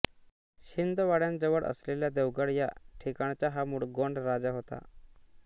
छिंदवाड्याजवळ असलेल्या देवगड या ठिकाणचा हा मूळ गोंड राजा होता